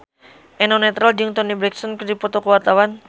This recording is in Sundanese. Eno Netral jeung Toni Brexton keur dipoto ku wartawan